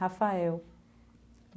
Rafael.